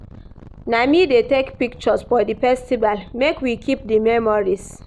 Na me dey take pictures for di festival, make we keep di memories.